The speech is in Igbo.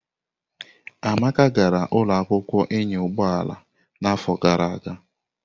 Amaka gara ụlọ akwụkwọ ịnya ụgbọ ala n'afọ gara aga.